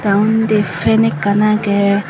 tey ondi pen ekkan agey.